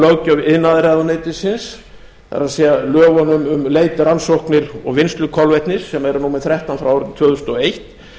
löggjöf iðnaðarráðuneytisins það er lögunum um leit rannsóknir og vinnslu kolvetnis sem eru númer þrettán frá árinu tvö þúsund og eitt